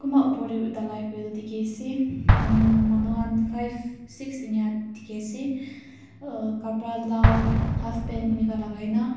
kunba upar teh dhalai kuri na dikhi ase hmm manu khan five six eniyat dikhi ase aa kapra lal halfpant enka lagai ke na--